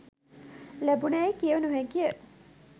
ලැබිණැයි කිව නො හැකි ය